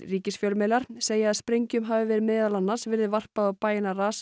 ríkisfjölmiðlar segja að sprengjum hafi meðal annars verið varpað á bæina